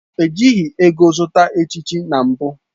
Ejighị ego zụta echichi na mbụ